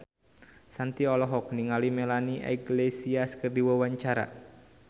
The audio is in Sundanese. Shanti olohok ningali Melanie Iglesias keur diwawancara